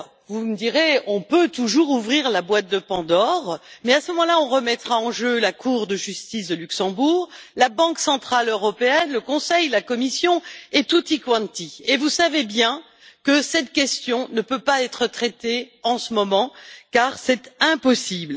Vous me direz qu'on peut toujours ouvrir la boîte de Pandore, mais, à ce moment là, on remettra en jeu la Cour de justice européenne, la Banque centrale européenne, le Conseil, la Commission et tutti quanti Vous savez bien que cette question ne peut être traitée en ce moment, car c'est impossible.